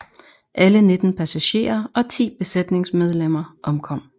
Alle 19 passagerer og 10 besætningsmedlemmer omkom